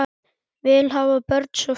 Vill hafa börnin svo fín.